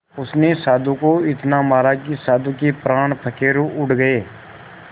उसने साधु को इतना मारा कि साधु के प्राण पखेरु उड़ गए